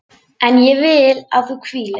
En ég vil að þú hvílist.